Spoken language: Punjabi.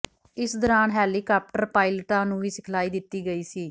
ਇਸ ਦੌਰਾਨ ਹੈਲੀਕਾਪਟਰ ਪਾਇਲਟਾਂ ਨੂੰ ਵੀ ਸਿਖਲਾਈ ਦਿੱਤੀ ਗਈ ਸੀ